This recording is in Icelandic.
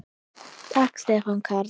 Takk Stefán Karl.